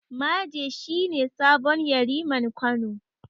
Maje shi ne sabon Yariman Kano.